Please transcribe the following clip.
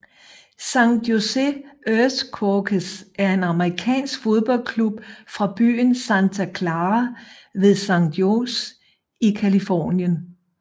San Jose Earthquakes er en amerikansk fodboldklub fra byen Santa Clara ved San Jose i Californien